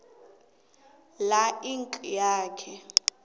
la inac yakhe